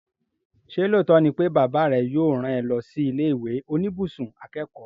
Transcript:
Ṣé lóòótọ́ ni pé bàbá rẹ yóò rán ẹ lọ sí ilé ìwé oníbùsùn akẹ́kọ̀ọ́?